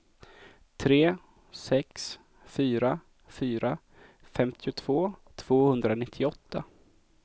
tre sex fyra fyra femtiotvå tvåhundranittioåtta